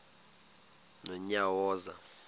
nonyawoza